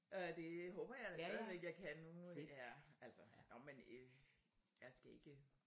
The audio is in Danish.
Øh det håber jeg da jeg stadigvæk kan nu må vi ja altså nåh men øh jeg skal ikke